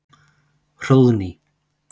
Hróðný